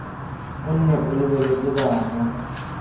o nne o lebeletse bana